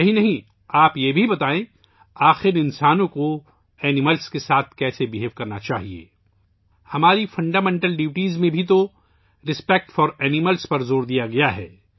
یہی نہیں بلکہ آپ یہ بھی بتائیں کہ آخر انسانوں کو جانوروں کے ساتھ کیسا سلوک کرنا چاہیئے! ہمارے بنیادی فرائض میں بھی جانوروں کے احترام پر زور دیا گیا ہے